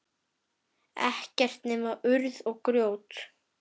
Ekkert nema urð og grjót.